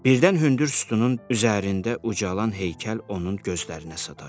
Birdən hündür sütunun üzərində ucalan heykəl onun gözlərinə sataşdı.